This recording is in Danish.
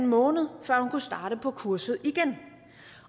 måned før hun kunne starte på kurset igen